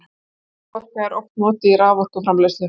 hreyfiorka er oft notuð í raforkuframleiðslu